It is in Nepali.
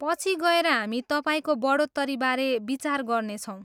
पछि गएर हामी तपाईँको बढोत्तरीबारे विचार गर्नेछौँ।